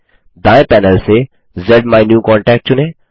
दायें पैनल से ज़्माइन्यूकॉन्टैक्ट चुनें